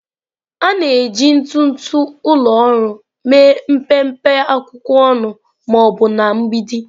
A na-eji ntụtụ ụlọ ọrụ mee mpempe akwụkwọ ọnụ ma ọ bụ na mgbidi.